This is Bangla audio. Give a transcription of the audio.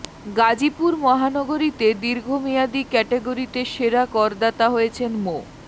গাজীপুর মহানগরীতে দীর্ঘ মেয়াদী ক্যাটগরিতে সেরা করদাতা হয়েছেন মো